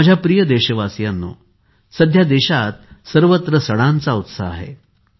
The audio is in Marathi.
माझ्या प्रिय देशवासीयांनो सध्या देशात सर्वत्र सणांचा उत्साह आहे